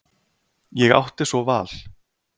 Ég átti svo val.